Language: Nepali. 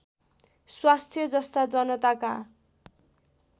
स्वास्थ्य जस्ता जनताका